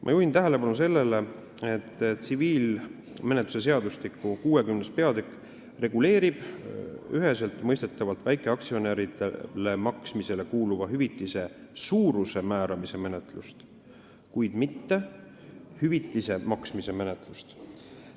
Ma juhin tähelepanu sellele, et tsiviilkohtumenetluse seadustiku 60. peatükk reguleerib üheseltmõistetavalt väikeaktsionäridele maksmisele kuuluva hüvitise suuruse määramise menetlust, kuid mitte hüvitise maksmise menetlust.